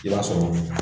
I b'a sɔrɔ